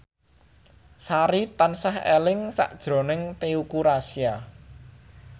Sari tansah eling sakjroning Teuku Rassya